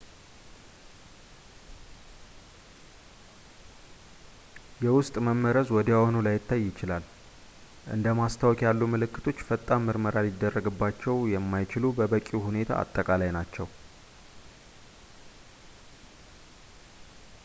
የውስጥ መመረዝ ወዲያውኑ ላይታይ ይችላል እንደ ማስታወክ ያሉ ምልክቶች ፈጣን ምርመራ ሊደረግባቸው የማይችሉ በበቂ ሁኔታ አጠቃላይ ናቸው